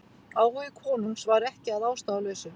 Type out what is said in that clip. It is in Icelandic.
Áhugi konungs var ekki að ástæðulausu.